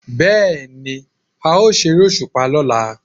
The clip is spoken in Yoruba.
Bẹ́ẹ̀ ni, a ó ṣeré òṣùpá lọ́la